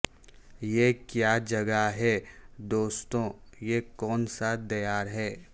یہ کیا جگہ ہے دوستو یہ کون سا دیار ہے